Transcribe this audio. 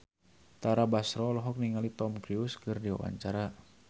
Tara Basro olohok ningali Tom Cruise keur diwawancara